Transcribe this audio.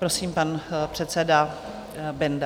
Prosím, pan předseda Benda.